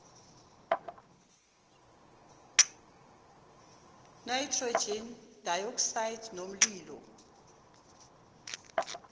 nitrogen dioxide nomlilo